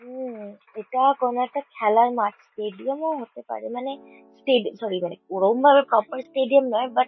উম এটা কোনো একটা খেলার মাঠ স্টেডিয়াম -ও হতে পারে মানে স্টেডি সরি সরি । মানে ওরম ভাবে প্রপার স্টেডিয়াম নয়। বাট --